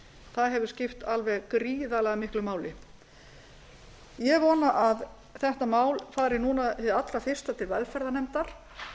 það hefur skipt alveg gríðarlega miklu máli ég vona að þetta mál fari núna hið allra fyrsta til velferðarnefndar